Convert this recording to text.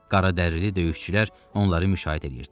Qaradərili döyüşçülər onları müşayiət edirdilər.